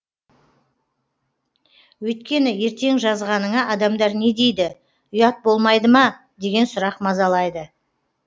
өйткені ертең жазғаныңа адамдар не дейді ұят болмайды ма деген сұрақ мазалайды